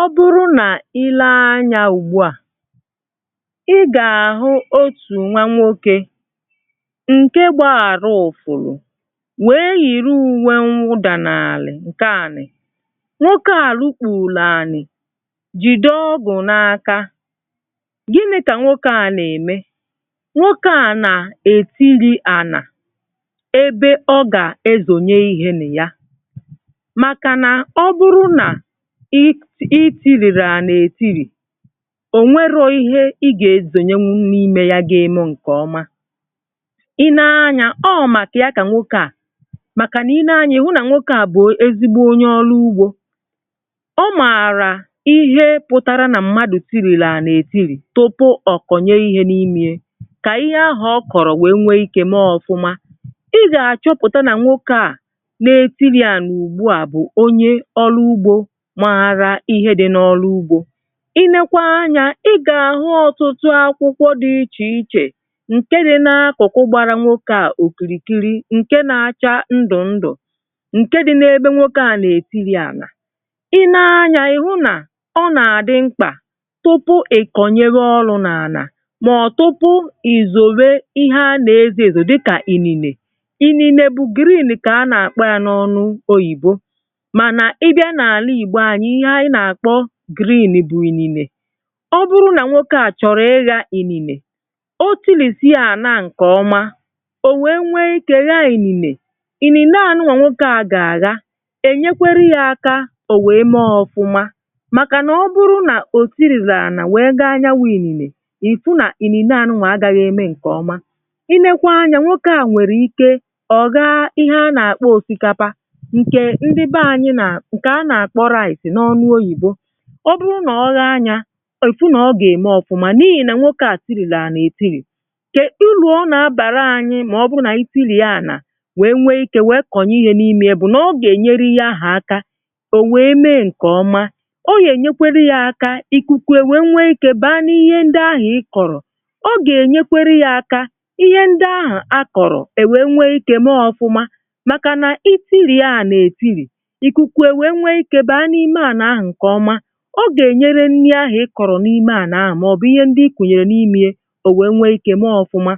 Ọ bụrụ nà i lee anyȧ ùgbua,ị gà-àhụ otù nwa nwokė, ǹke gbaa ȧru̇ ụ̀fụ̀rụ̀, nwèe yìri ùwe nwụdà nàlị̀ ǹkè ȧnì. Nwokė ȧ lukpùùlu ànì jìde ọgụ̀ n’aka. Gini̇ kà nwokė ȧ na ème? nwokė ȧ nà ètiri ànà ebe ọ gà-ezònye ihe nè ya. Maka na ọ bụrụ na ị ị itirìri ànà ètirì, ò nwerọ ihe ị gà-esònye nwụ n’imė ya gȧ-eme ǹkè ọma. Ị nee anya ọ màkà ya kà nwoke à, màkà nà i nee anya ị hụ nà nwoke à bụ̀ ezigbo onye ọlụ ugbȯ. Ọ mààrà ihe pụtara nà mmadụ̀ tirìrì ànà-ètiri tupu ọ̀kọ̀nye ihe n’imė ye, kà ihe ahụ̀ ọ kọ̀rọ̀ wèe nwee ikė mee ọfụma. ị gà-àchọpụ̀ta nà nwoke à na-etiri ànà ùgbu à bụ̀ onye olu ugbo màra ihe dị n’ọlụ ugbȯ, i nekwa anya ị gà-àhụ ọtụtụ akwụkwọ dị ichè ichè ǹke dị n’akụ̀kụ̀ gbara nwokė a òkìrìkiri ǹke na-acha ndụ̀ ndụ̀ ǹke dị n’ebe nwokė a nà-ètiri ànà.I nee anyȧ ị hụ nà ọ nà-àdị mkpà tupu ị kọ̀nyewe ọlụ̇ n’ànà màọ̀ tupu ìzòwè ihe a nà-ezo èzo dịkà inine Iniine bụ green kà a nà-àkpa ya n’ọnụ oyìbo. Mana ịbia n’ala Igbo anyi ihe anyi n’akpo green bụ inine. Ọ bụrụ nà nwokė a chọ̀rọ̀ ịghȧ ị̀nìnè o tili̇sìe àna a ǹkè ọma, ò nwèe nwèe ikė ghȧȧ ininè. Inìnè anụwà nwokė a gà-àgha è nyekweri ya aka ò nwèe mee ọfụma màkànà ọ bụrụ nà ò tiriri ànà nwèe ghaa ya wụ̀ ị̀nìnè, ị̀fụ nà inìnè anụnwà agaghị̀ eme ǹkè ọma. Inekwa anyȧ nwokė a nwèrè ike ọ̀ ghaa ihe a nà-àkpọ òsikapa, nke ndi be anyi na, nke a na-akpọ rice na ọnu oyibo. Ọ bụrụ na ọ ghȧȧ ya ifụ nà ọ gà-ème ọ̀fụma n’ihì nà nwokė à tịrị̀ri anà ètirì. Kedu uru ọ na-abàra anyị mà ọ bụrụ nà anyi ti̇ri̇e anà, nwèe nwee ikė nwee kọ̀nye ihe n’imė ya bụ̀ nà ọ gà-ènyere ihe ahụ̀ aka ò nwèe mee ǹkèọma ọ gà-ènyekwere ya aka ìkùkù èwè nwee ikė baa n’ihe ndị ahụ̀ ị kọ̀rọ̀, ọ gà-ènyekwere ya aka ihe ndị ahụ̀ akọ̀rọ̀ èwè nwee ikė mee ọ̀fụma. Màkà nà iti̇ri̇e anà-ètiri̇ ikuku ewee ike baa n’ime ana ahu nke ọma, ọ gà-ènyere nni ahụ̀ ịkọ̀rọ̀ n’ime ànà ahụ̀ màọbụ̀ ihe ndị ikùnyèrè n’imìye ò wèe nwee ikė mee ọfụma.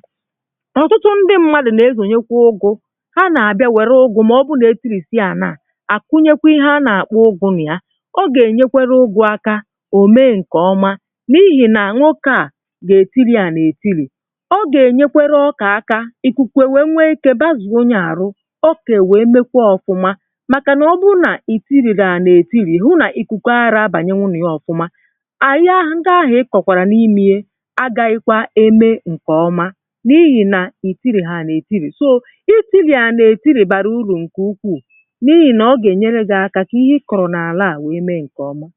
Ọtụtụ ndị mmadụ̀ nà-ezònyekwa ụgụ̇, ha na-àbịa wère ụgụ̇ mà ọ bụ̀ nà-ètirì sie ànà à àkụnyekwa ihe a nà-àkpụ ụgụ̇ nà ya ọ gà-ènyekwere ụgụ̇ akȧ ò mee ǹkè ọma, n’ihì nà nwokė à gà-ètirì ànà-ètirì. ọ gà-ènyekwere ọkà aka ị̀kụkù e wèe nwee ikė bazuo ya àrụ ọ kà èwèe mekwà ọfụma maka na ọbụ nà itiri ana etiri, ihu na ikuku aghari abanyewu na ya ofuma. Aghaa ndi ahu ikokwara n’ime ye, agaghikwa eme nke ọma n’ihi na itirihi ana etiri. So, itiri ana etiri bara uru nke ukwuu n’ihi na ọ ga enyere gi aka ka ihe ịkọro n’ala a mee nke oma.